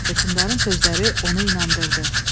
Hökmdarın sözləri onu inandırdı.